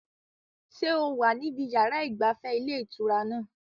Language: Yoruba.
Ṣé o wà níbi yàrá ìgbafẹ́ ilé ìtura náà?